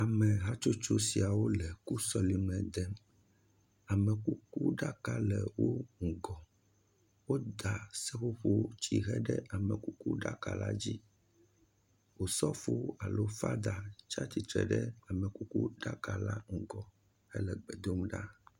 Ameha tsotso siawo le ku sɔleme dem, amekukuɖaka le ŋgɔ, woda seƒoƒotsihe ɖe amekuku ɖaka la dzi, Osofo alo father tsi atsitre ɖe ame kukuɖaka la ŋgɔ hele gbe dom ɖa.